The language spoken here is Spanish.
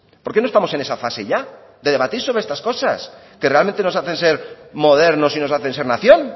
por qué no estamos en esa fase ya de debatir sobre estas cosas que realmente nos hacen ser modernos y nos hacen ser nación